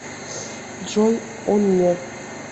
джой он не